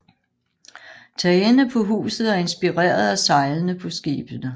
Tagene på huset er inspireret af sejlene på skibene